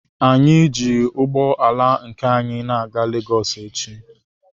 Anyị ji ụgbọ ala nke anyi na-aga Legọs echi.